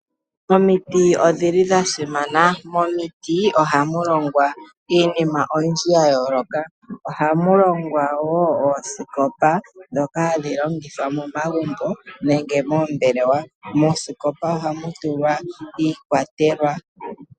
Omiti odhili dha simana, momiti oha mu longwa iinima oyindji ya yooloka oha mu longwa wo oosikopa ndhoka hadhi longithwa momagumbo nenge moombelewa. Moosikopa oha mu tulwa iikwatelwa.